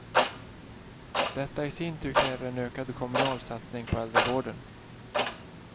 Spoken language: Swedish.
Detta i sin tur kräver en ökad kommunal satsning på äldrevården.